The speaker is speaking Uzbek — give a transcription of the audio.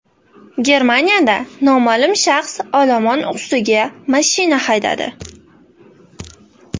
Germaniyada noma’lum shaxs olomon ustiga mashina haydadi.